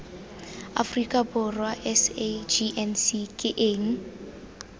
aforika borwa sagnc ke eng